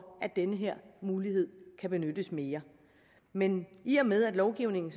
at den her mulighed kan benyttes mere men i og med at lovgivningen